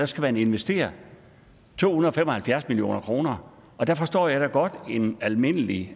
skal man investere to hundrede og fem og halvfjerds million kr og der forstår jeg da godt at en almindelig